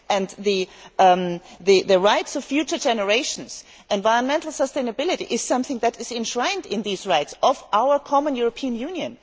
With regard to the rights of future generations, environmental sustainability is something that is enshrined in the rights of our common European Union.